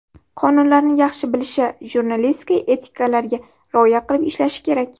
Qonunlarni yaxshi bilishi, jurnalistika etikalariga rioya qilib ishlashi kerak.